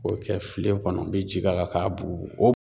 O kɛ filen kɔnɔ u bɛ ji k'a kan k'a bugu bugu